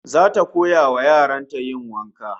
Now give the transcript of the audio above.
Zata koya wa yaran ta yin wanka